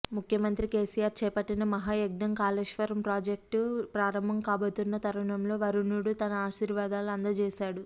ముఖ్యమంత్రి కేసీఆర్ చేపట్టిన మహాయజ్ఞం కాళేశ్వరం ప్రాజెక్టు ప్రారంభం కాబోతున్న తరుణంలో వరుణుడు తన ఆశీర్వాదాలు అందజేశాడు